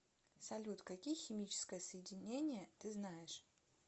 салют какие химическое соединение ты знаешь